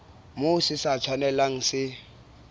moo se sa tshwanelang se